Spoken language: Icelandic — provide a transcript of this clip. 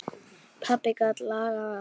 Pabbi gat lagað allt.